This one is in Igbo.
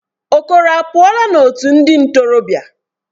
Okoro apuola otu ndi ntorobia?